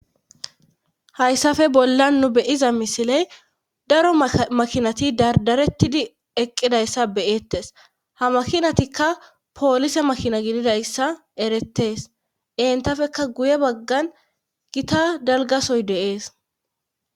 Haysafe bollan nu be7iza misile daro makinati dardarettidi eqqidayssa be7eettes;ha maakinattikka poolise makina gididayssa erettes;entapekka guye baggan gita dalgga sohoy de7ees.